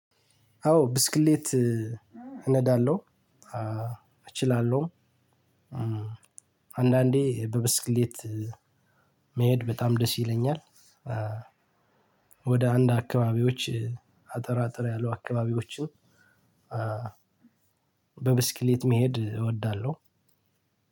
አዎ ብስክሌት እነዳለሁ እችላለሁ። አንዳንዴ በብስክሌት መሄድ በጣም ደስ ይለኛል። ወደ አንድ አካባቢዎች አጠር አጠር ያሉ አካባቢዎችን። በብስክሌት መሄድ እወዳለሁ።